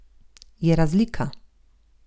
Je razlika.